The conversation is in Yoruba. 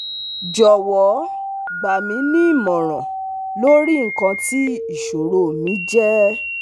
Jọwọ gba mi nimọran lori ikan ti iṣoro mi je